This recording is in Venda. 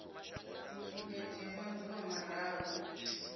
i nga dzhia maḓuvha mararu